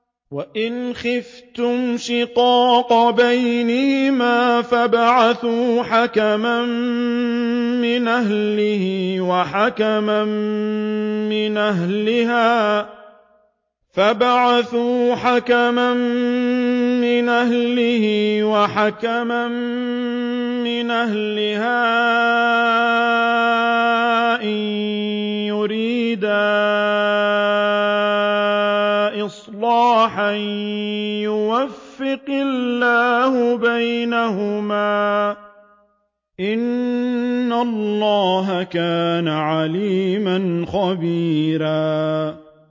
وَإِنْ خِفْتُمْ شِقَاقَ بَيْنِهِمَا فَابْعَثُوا حَكَمًا مِّنْ أَهْلِهِ وَحَكَمًا مِّنْ أَهْلِهَا إِن يُرِيدَا إِصْلَاحًا يُوَفِّقِ اللَّهُ بَيْنَهُمَا ۗ إِنَّ اللَّهَ كَانَ عَلِيمًا خَبِيرًا